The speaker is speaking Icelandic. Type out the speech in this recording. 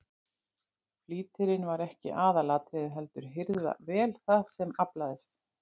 Flýtirinn var ekki aðalatriðið heldur að hirða vel það sem aflaðist.